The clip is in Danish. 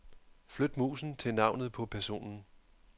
Flyt musen til navnet på personen.